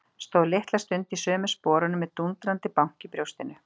Stóð litla stund í sömu sporunum með dúndrandi bank í brjóstinu.